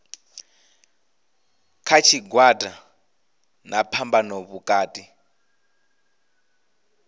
kha tshigwada na phambano vhukati